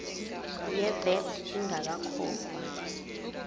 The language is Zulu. ye vat ingakakhokhwa